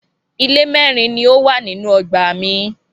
Ilé mẹ́rin ni ó wà nínú ọgbà mi.